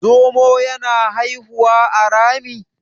zomo yana haihuwa a Rami?